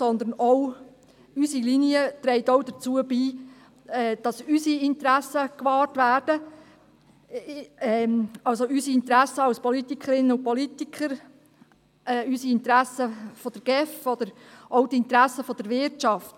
unsere Linie trägt auch dazu bei, dass unsere Interessen gewahrt werden – unsere Interessen als Politikerinnen und Politiker, die Interessen der GEF oder auch die Interessen der Wirtschaft.